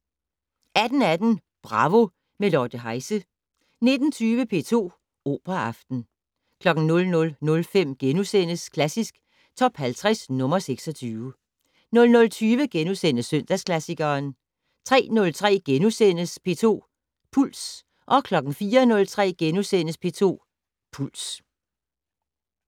18:18: Bravo - med Lotte Heise 19:20: P2 Operaaften 00:05: Klassisk Top 50 - nr. 26 * 00:20: Søndagsklassikeren * 03:03: P2 Puls * 04:03: P2 Puls *